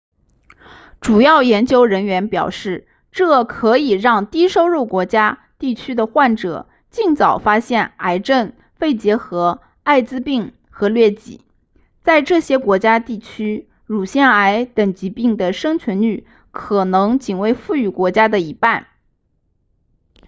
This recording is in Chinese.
主要研究人员表示这可以让低收入国家地区的患者尽早发现癌症肺结核艾滋病和疟疾在这些国家地区乳腺癌等疾病的生存率可能仅为富裕国家的一半